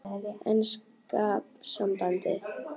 Enska sambandið?